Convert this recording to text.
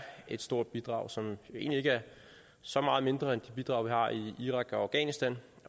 et stort bidrag som egentlig ikke er så meget mindre end de bidrag vi har i irak og afghanistan